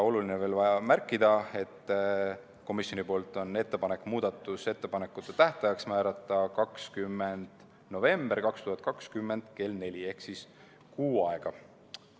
Oluline on veel märkida, et komisjonil on ettepanek muudatusettepanekute esitamise tähtajaks määrata 20. november 2020 kell 16 ehk tähtaeg on kuu aega.